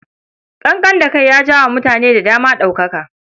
Ƙanƙan da kai ya jawo wa mutane da dama ɗaukaka.